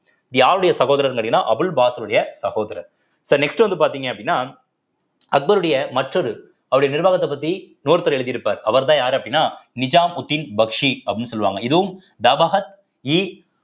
யாருடைய சகோதரர்ன்னு கேட்டீங்கன்னா அபுல் சகோதரர் so next வந்து பார்த்தீங்க அப்படின்னா அக்பருடைய மற்றொரு அவருடைய நிர்வாகத்தைப் பத்தி இன்னொருத்தர் எழுதி இருப்பார் அவர்தான் யாரு அப்படின்னா நிஜாமுதீன் பக்ஷி அப்படின்னு சொல்லுவாங்க இதுவும் தபகத் இ